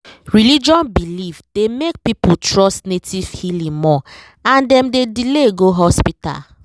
religion belief dey make people trust native healing more and dem dey delay go hospital.